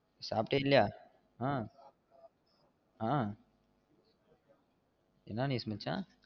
சாப்டியா இல்லையா? அஹ் அஹ் என்ன news மச்சா?